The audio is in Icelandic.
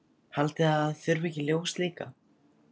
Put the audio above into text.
Haldið þið að það þurfi ekki ljós líka?